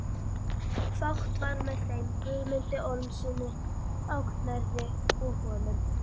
Fátt var með þeim Guðmundi Ormssyni á Knerri og honum.